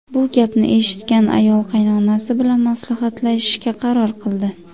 Bu gapni eshitgan ayol qaynonasi bilan maslahatlashishga qaror qildi.